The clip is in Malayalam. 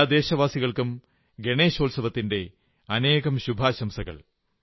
എല്ലാ ദേശവാസികൾക്കും ഗണേശോത്സവത്തിന്റെ അനേകം ശുഭാശംസകൾ